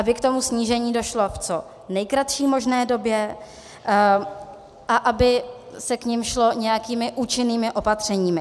Aby k tomu snížení došlo v co nejkratší možné době a aby se k němu šlo nějakými účinnými opatřeními.